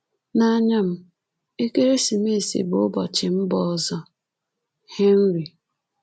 “N'anya m, ekeresimesi bụ ụbọchị mba ọzọ” — HENRY